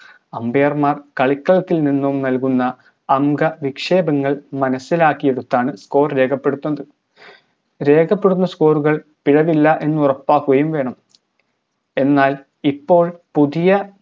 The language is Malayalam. ambier മാർ കളിക്കളത്തിൽനിന്നും നൽകുന്ന അംഗ വിക്ഷേപങ്ങൾ മനസ്സിലാക്കിയെടുത്താണ് score രേഖപ്പെടുത്തുന്നത് രേഖപ്പെടുത്തുന്ന score കൾ പിഴവില്ല എന്നുറപ്പാക്കുകയും വേണം എന്നാൽ ഇപ്പോൾ പുതിയ